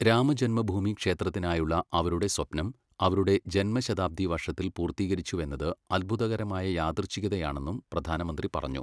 രാമജന്മഭൂമി ക്ഷേത്രത്തിനായുള്ള അവരുടെ സ്വപ്നം അവരുടെ ജന്മശതാബ്ദി വർഷത്തിൽ പൂർത്തീകരിച്ചുവെന്നത് അത്ഭുതകരമായ യാദൃച്ഛികതയാണെന്നും പ്രധാനമന്ത്രി പറഞ്ഞു.